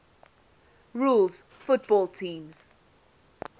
rules football teams